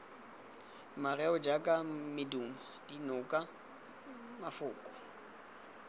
mareo jaaka medumo dinoko mafoko